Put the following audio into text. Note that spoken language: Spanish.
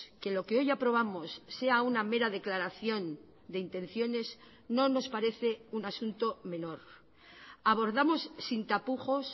que lo que hoy aprobamos sea una mera declaración de intenciones no nos parece un asunto menor abordamos sin tapujos